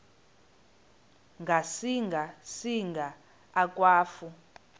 ngasinga singa akwafu